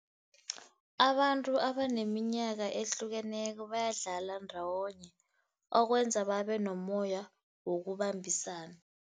Abantu abaneminyaka ehlukeneko bayadlala ndawonye, okwenza babenomoya wokubambisana.